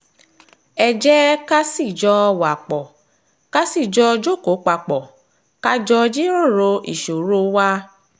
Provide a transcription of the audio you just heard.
ẹ jẹ́ ká sì jọ̀ọ́ wa pọ̀ ká sì jọ jókòó papọ̀ ká jọ jíròrò ìṣòro wa